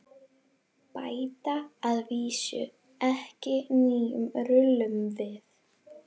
Bæta að vísu ekki nýjum rullum við.